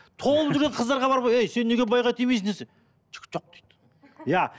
толып жүрген қыздарға бар ғой ей сен неге байға тимейсің десе жігіт жоқ дейді иә